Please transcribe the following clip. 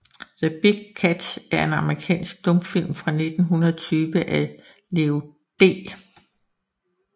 The Big Catch er en amerikansk stumfilm fra 1920 af Leo D